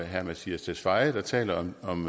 herre mattias tesfaye der taler om